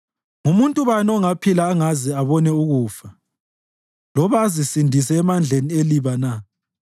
Ngumuntu bani ongaphila angaze abona ukufa, loba azisindise emandleni eliba na?